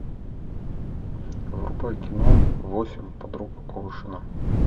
врубай кино восемь подруг оушена